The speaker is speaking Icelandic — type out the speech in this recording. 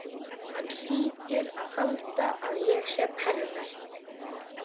Hann hlýtur að halda að ég sé pervert.